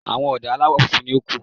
Àwọn ọ̀dà aláwọ̀ funfun nìkan ni ó kù.